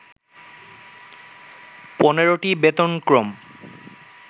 ১৫টি বেতনক্রম